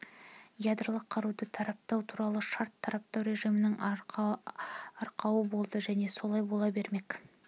ядролық қаруды таратпау туралы шарт таратпау режімінің арқауы болды және солай бола бермек